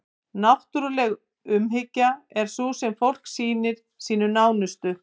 náttúruleg umhyggja er sú sem fólk sýnir sínum nánustu